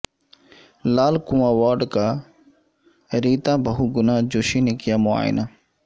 لال Kuan ward کا Rita Bahuguna Joshi نے کیا معائنہ